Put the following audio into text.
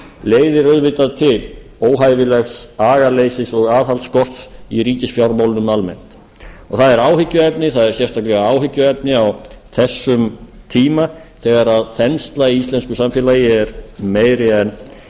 leiðir auðvitað til óhæfilegs agaleysis og aðhaldsskorts í ríkisfjármálunum almennt og það er sérstakt áhyggjuefni á þessum tíma þegar þensla í íslensku samfélagi er meiri